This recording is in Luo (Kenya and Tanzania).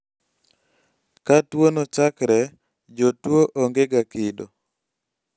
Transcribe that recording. ka tuwono chakre, jotuwo ongega kido